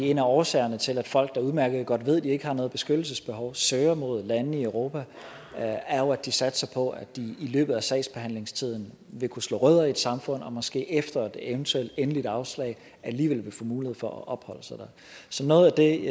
en af årsagerne til at folk der udmærket godt ved at de ikke har noget beskyttelsesbehov søger mod lande i europa er jo at de satser på at de i løbet af sagsbehandlingstiden vil kunne slå rødder i et samfund og måske efter et eventuelt endeligt afslag alligevel vil få mulighed for at opholde sig der så noget af det